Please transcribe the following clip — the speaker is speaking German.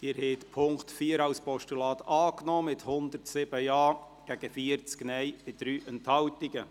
Sie haben den Punkt 4 als Postulat angenommen, mit 107 Ja- gegen 40 Nein-Stimmen bei 3 Enthaltungen.